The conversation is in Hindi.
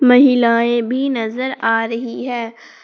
महिलाएं भी नजर आ रही है।